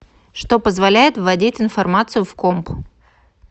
что позволяет вводить информацию в комп